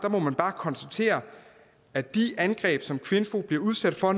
konstatere at de angreb som kvinfo bliver udsat for